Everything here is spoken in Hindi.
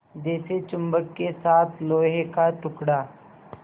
जैसे चुम्बक के साथ लोहे का टुकड़ा